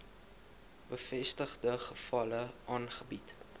bevestigde gevalle aangebied